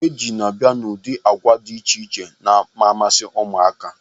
Oteji n'abia n'ụdị agwa dị iche iche na-amasị ụmụaka.